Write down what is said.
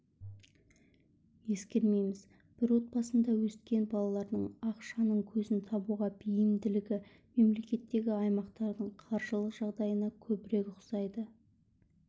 ескермейміз бір отбасында өскен балалардың ақшаның көзін табуға бейімділігі мемлекеттегі аймақтардың қаржылық жағдайына көбірек ұқсайды